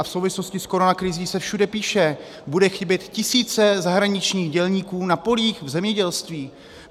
A v souvislosti s koronakrizí se všude píše: budou chybět tisíce zahraničních dělníků na polích v zemědělství.